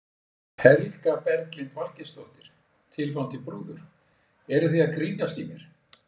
Helga Berglind Valgeirsdóttir, tilvonandi brúður: Eruð þið að grínast í mér?